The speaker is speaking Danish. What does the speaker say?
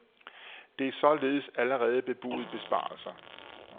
Der er således allerede bebudet besparelser.